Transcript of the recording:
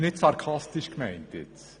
Das ist nicht sarkastisch gemeint!